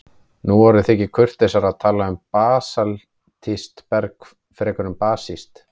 Nú orðið þykir kurteisara að tala um basaltískt berg fremur en basískt.